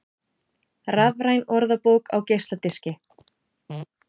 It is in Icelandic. Rafræn orðabók á geisladiski